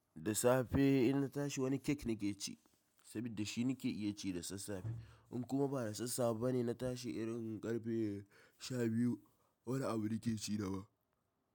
Da safe in na tashi wani cake nake ci, saboda shi nake iya ci da sassafe. In kuma ba da sassafe bane na tashi irin karfe sha biyu, wani abu nake ci daban.